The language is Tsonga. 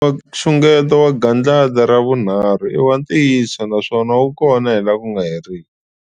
Nxungeto wa gandlati ra vunharhu i wa ntiyiso naswona wu kona hi laha ku nga heriki.